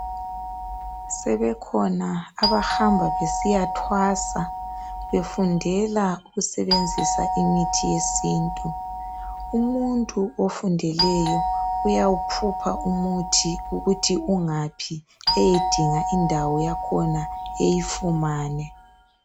Sebekhona abahamba besiya thwasa ,befundela ukusebenzisa imithi yesintu, umuntu ofundileyo uyawu phupha umuthi ukuthi ungaphi eyedinga indawo yakhona eyifumane .